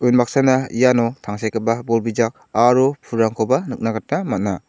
unbaksana iano tangsekgipa bol bijak aro pulrangkoba nikna gita man·a.